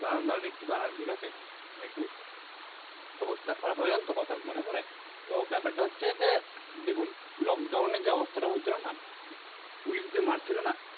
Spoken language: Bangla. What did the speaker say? দাঁড়ান দাঁড়ান একটু দাঁড়ান ঠিকাছে মানে একটু অবস্থা খারাপ হয়ে গেলো তো কথা মনে পরে তো ব্যাপারটা হচ্ছে দেখুন Lockdown এ যে অবস্থাটা হয়েছিল ন Police যে মার ছিলো না